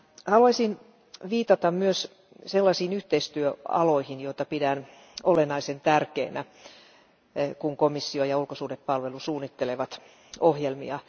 Haluaisin viitata myös sellaisiin yhteistyöaloihin, joita pidän olennaisen tärkeinä, kun komissio ja ulkosuhdehallinto suunnittelevat ohjelmia.